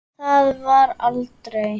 Það varð aldrei!